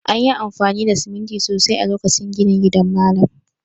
An yi amfani da siminti sosai a lokacin ginin gidan malam